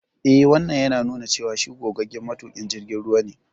Eh, Wannan yana nuna cewa shi gogaggen matuƙin jirgin ruwa ne.